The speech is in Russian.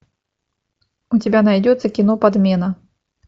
у тебя найдется кино подмена